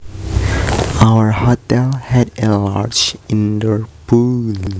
Our hotel had a large indoor pool